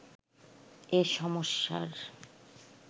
এ সমস্যার